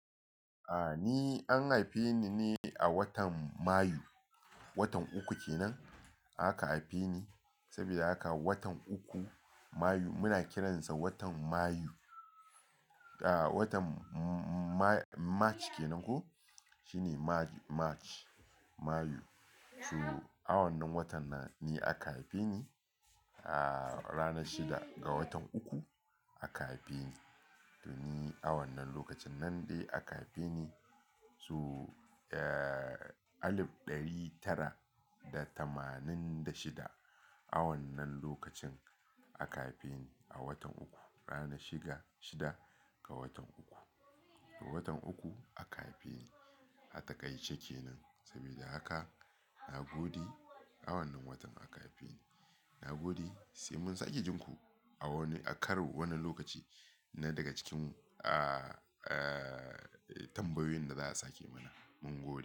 A'a ni an haife ni ne a watan Mayu, watan uku kenan aka haife ni. Saboda haka watan uku Mayu muna kiransa watan Mayu. A'a watan Ma-March ke nan ko? Shine March, Mayu. So a wannan watan nan ni aka haife ni. A'a ranar shida ga watan uku aka haife ni. To ni a wannan lokacin nan ne aka haife ni. So, eh, alif ɗari tara da tamanin da shida. A wannan lokacin aka haife ni a watan uku, rana shida, shida ga watan uku. Watan uku aka haife ni, a takaice kenan. Sabida haka na gode a wannan watan aka haife ni. Na gode sai mun sake jin ku a wani, a karon wani lokaci na daga cikin, ah, eh, tambayoyin da za a sake mana. Mun gode.